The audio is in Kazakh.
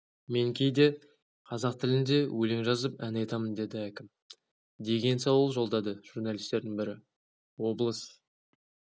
мен кейде қазақ тілінде өлең жазып ән айтамын деді әкім деген сауал жолдады журналистердің бірі облыс